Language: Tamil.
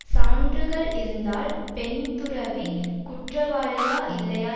சான்றுகள் இருந்தால் பெண்துறவி குற்றவாளியா இல்லையா